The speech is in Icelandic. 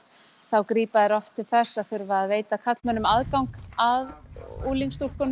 þá grípa þar oft til þess að þurfa að veita karlmönnum aðgang að